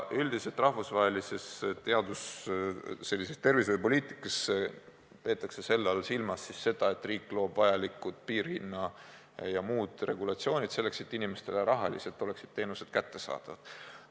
Üldiselt rahvusvahelises tervishoiupoliitikas peetakse selle all silmas siis seda, et riik loob vajalikud piirhinna- ja muud regulatsioonid, selleks et inimestele rahaliselt oleksid teenused kättesaadavad.